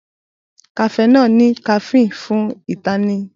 Cafenol ní caffeine fún ìtanijí.